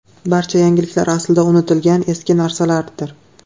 Barcha yangiliklar aslida unutilgan eski narsalardir.